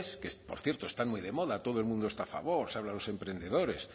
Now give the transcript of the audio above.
que por cierto están muy de moda todo el mundo está favor se habla de los emprendedores